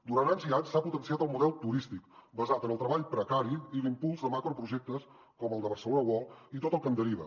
durant anys i anys s’ha potenciat el model turístic basat en el treball precari i l’impuls de macroprojectes com el de barcelona world i tot el que en deriva